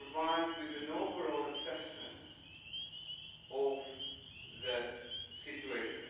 We provide you with an overall assessment of the situation